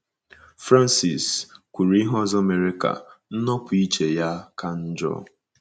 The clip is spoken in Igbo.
Frances kwuru ihe ọzọ mere ka nnopụ iche ya ka njọ.